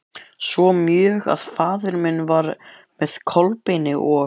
Svo mjög að faðir minn var með Kolbeini og